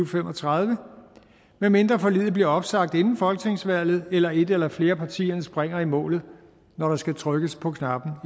fem og tredive medmindre forliget bliver opsagt inden folketingsvalget eller et eller flere af partierne springer i målet når der skal trykkes på knappen